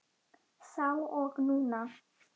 Þá og núna.